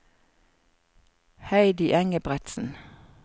Heidi Engebretsen